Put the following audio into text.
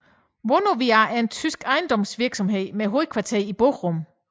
Vonovia er en tysk ejendomsvirksomhed med hovedkvarter i Bochum